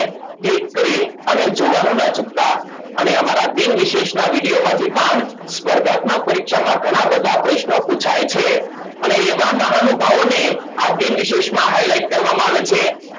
તે કઈ અને જુવાળો ના ચુકતા અને અમારા દિનવિશેષ ના વિડીયોમાથી પણ સ્પર્ધાત્મક પરીક્ષામાં ઘણા બધા પ્રશ્નો પુછાય છે અને એવા મહાનુભાવોને આ દીનવેશેષમાં Highlight